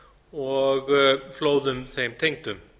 og flóðum þeim tengdum